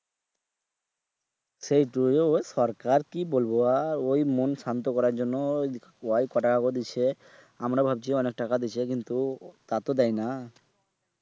সেইটোই সরকার কি বলবো আর ওই মন শান্ত তো করার জন্য ওই কটকা করে দিচ্ছে আমরা ভাবছি অনেক টাকা দিচ্ছে কিন্তু তা তো দেয়না